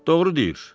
Doğru deyir.